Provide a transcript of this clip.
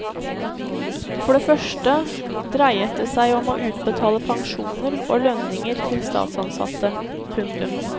For det første dreiet det seg om å utbetale pensjoner og lønninger til statsansatte. punktum